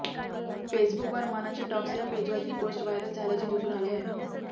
फेसबुकवर मनाचे टॉक्स या पेजवर ही पोस्ट व्हायरल झाल्याचे दिसून आले आहे